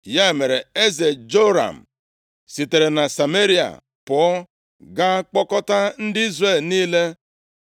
Ya mere, eze Joram sitere na Sameria pụọ ga kpọkọta ndị Izrel niile.